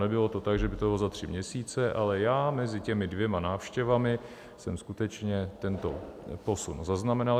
Nebylo to tak, že by to bylo za tři měsíce, ale já mezi těmi dvěma návštěvami jsem skutečně tento posun zaznamenal.